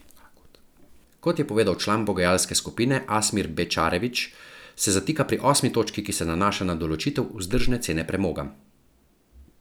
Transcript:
Kot je povedal član pogajalske skupine Asmir Bečarević, se zatika še pri osmi točki, ki se nanaša na določitev vzdržne cene premoga.